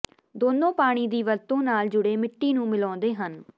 ਦੋਨੋਂ ਪਾਣੀ ਦੀ ਵਰਤੋਂ ਨਾਲ ਜੁੜੇ ਮਿੱਟੀ ਨੂੰ ਮਿਲਾਉਂਦੇ ਹਨ